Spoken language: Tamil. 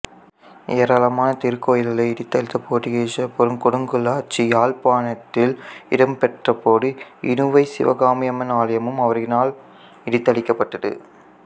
ஏராளமான திருக்கோயில்களை இடித்தளித்த போத்துக்கீசர் கொடுங்கோலாட்சி யாழப்பாணத்தில் இடம்பெற்றபோது இணுவைச் சிவகாமியம்மன் ஆலயமும் அவர்களினால் இடித்தளிக்கப்பட்டது